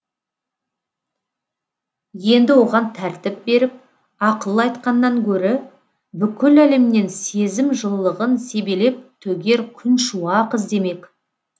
енді оған тәртіп беріп ақыл айтқаннан гөрі бүкіл әлемнен сезім жылылығын себелеп төгер күншуақ іздемек